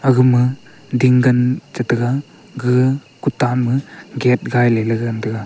aga ma ding gan chi ta ga gaga kutam ma gate gai ley gan taiga.